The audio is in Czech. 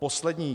Poslední.